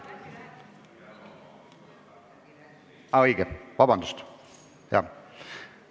Aa, õige, vabandust!